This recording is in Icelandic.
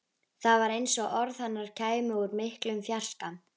Það var eins og orð hennar kæmu úr miklum fjarska.